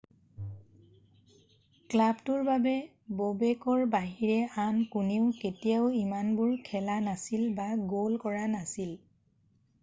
ক্লাবটোৰ বাবে ব'বেকৰ বাহিৰে আন কোনেও কেতিয়াও ইমানবাৰ খেলা নাছিল বা গ'ল কৰা নাছিল